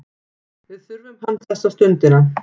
Við þurfum hann þessa stundina.